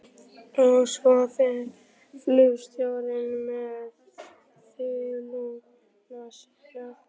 Og svo fer flugstjórinn með þuluna sína.